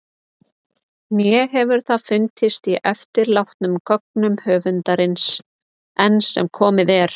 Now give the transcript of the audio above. Né hefur það fundist í eftirlátnum gögnum höfundarins- enn sem komið er.